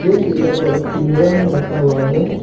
ये चिड़ियों को एक पिंजरा में रखा हुआ है।